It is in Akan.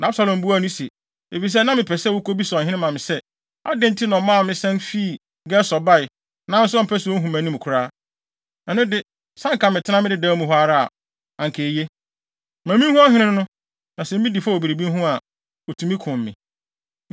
Na Absalom buaa no se, “Efisɛ na mepɛ sɛ wukobisa ɔhene ma me sɛ, adɛn nti na ɔmaa me san fii Gesur bae, nanso ɔmpɛ sɛ ohu mʼanim koraa? Ɛno de, sɛ anka metenaa me dedaw mu hɔ ara a, anka eye. Ma minhu ɔhene no, na sɛ midi fɔ wɔ biribi ho a, otumi kum me.”